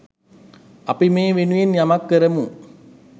අපි මේ වෙනුවෙන් යමක් කරමු